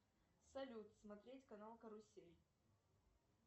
салют смотреть канал карусель